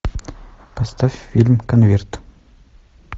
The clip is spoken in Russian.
поставь фильм конверт